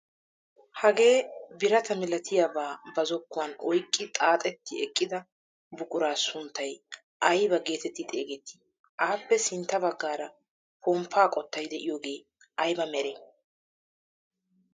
Hagee birata milatiyaaba ba zokkuwaan oyqqi xaaxeti eqqida buquraa sunttay aybaa getetti xeegetti? appe sintta baggaara pomppaa qottay de'iyoogee ayba meree?